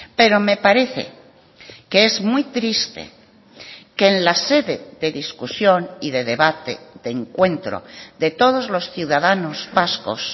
pero me parece que es muy triste que en la sede de discusión y de debate de encuentro de todos los ciudadanos vascos